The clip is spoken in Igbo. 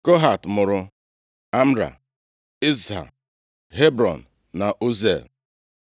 Kohat mụrụ Amram, Izha, Hebrọn na Uziel.